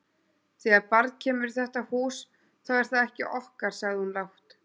Þegar barn kemur í þetta hús, þá er það ekki okkar, sagði hún lágt.